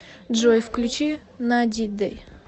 джой включи надиде